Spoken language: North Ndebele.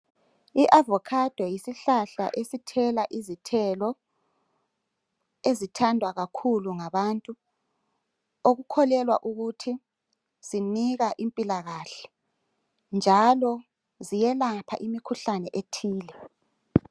I"avocado" yisihlahla esithela izithelo ezithandwa kakhulu ngabantu okukholelwa ukuthi sinika impilakahle njalo ziyelapha imikhuhlane ethile.